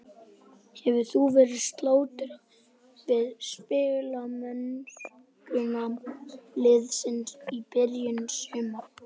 Hefur þú verið sáttur við spilamennskuna liðsins í byrjun sumars?